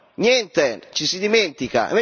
Niente, ci si dimentica!